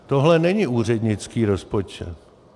Tohle není úřednický rozpočet.